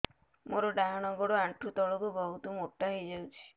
ମୋର ଡାହାଣ ଗୋଡ଼ ଆଣ୍ଠୁ ତଳକୁ ବହୁତ ମୋଟା ହେଇଯାଉଛି